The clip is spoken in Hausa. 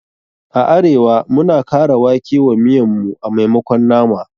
A arewa, muna kara wake wa miyan mu a maimakon nama.